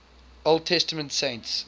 old testament saints